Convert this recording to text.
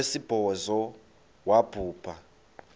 wesibhozo wabhu bha